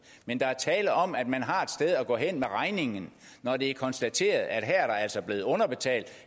men der er tale om at man har et sted at gå hen med regningen når det er konstateret at der altså blevet underbetalt